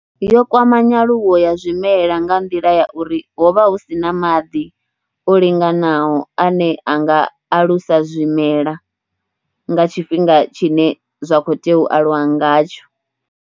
Yo kwama nyaluwo ya zwimela nga nḓila ya uri ho vha hu si na maḓi o linganaho ane a nga alusa zwimela nga tshifhinga tshine zwa khou tea u aluwa ngatsho.